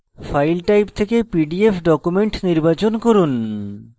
file type থেকে pdf document নির্বাচন from